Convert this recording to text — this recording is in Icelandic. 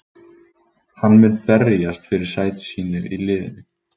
Hann mun berjast fyrir sæti sínu í liðinu.